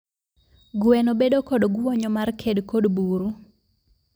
Gweno bedo kod gwonyo mar ked kod buru.